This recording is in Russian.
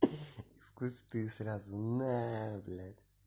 в кусты сразу на блять